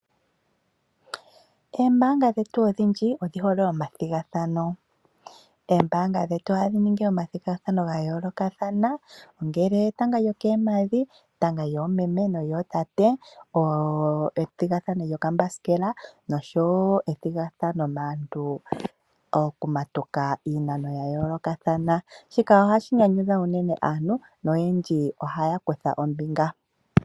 Eembaanga dhetu odhindji odhihole omathigathano . Oombanga dhetu ohadhi ningi omathigathano ga yoolokathana ngele etanga lyokoompadhi ,etanga lyomeme nolyootate. Ethigathano lyokambasikela noshowo ethigathano maantu oku matuka niinamwenyo ya yoolokathana shika ohashi nyanyudha unene naantu oyendji ohaya kutha ombinga.